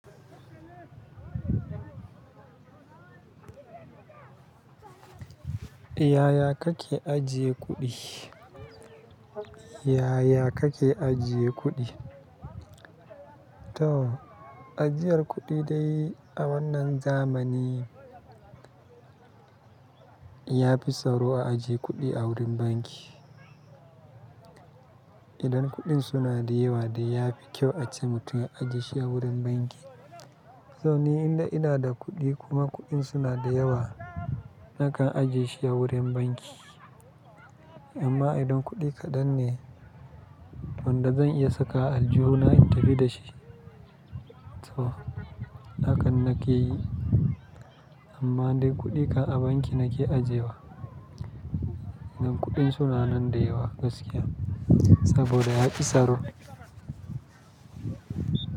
Yaya kake ajiye kuɗi? Yaya kake ajiye kuɗi? To ajiyar kuɗi dai a wannan zamani, ya fi tsaro a ajiye kuɗi a wurin banki. Idan kuɗin suna da yawa dai ya fi kyau ace mutum ya ajiye shi a wurin banki. Tso ni idan ina da kuɗi kuma kuɗin suna da yawa, nakan ajiye shi a wurin banki. Amma idan kuɗi kaɗan ne, wanda zan iya saka aljuhu na in tafi da shi, to hakan nake yi. Amma idan kuɗi ka a banki nake ajiyewa. Idan kuɗin suna nan da yawa gaskiya, saboda ya fi tsaro.